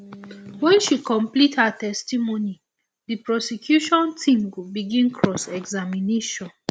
wen she complete her testimony di prosecution team go begin cross examination